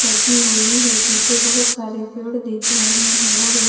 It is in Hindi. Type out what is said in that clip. लगी हुई है पीछे बहुत सारे पेड़ दिख रहे हैं और एक --